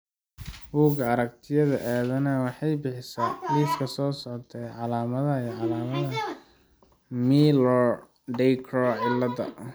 Bugga Aragtiyaha Aanadanaha waxay bixisaa liiska soo socda ee calaamadaha iyo calaamadaha Miller Dieker cilada.